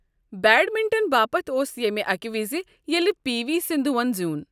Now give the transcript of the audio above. Badminton باپتھ اوس ییمہِ اكہِ وِزِ ییٚلہ پی وی سندھوہن زیوٗن۔